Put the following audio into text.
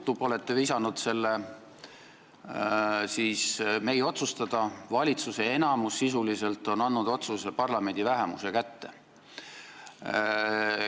Teie olete visanud selle meie otsustada, valitsuse enamus on sisuliselt andnud otsuse tegemise parlamendi vähemuse kätte.